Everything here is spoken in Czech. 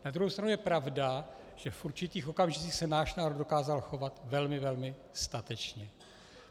Na druhou stranu je pravda, že v určitých okamžicích se náš národ dokázal chovat velmi, velmi statečně.